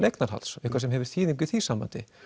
eignarhalds eitthvað sem hefur þýðingu í því sambandi